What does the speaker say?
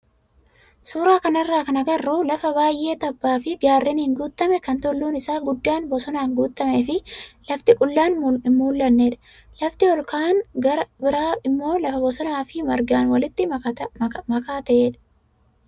Suuraa kanarraa kan agarru lafa baay'ee tabbaa fi gaarreniin guutame kan tulluun isaa guddaan bosonaan guutamee fi lafti qullaan hin mul'annedha. Lafti ol ka'aan gara biraa immoo lafa bosonaa fi margaan waliin makaa ta'edha.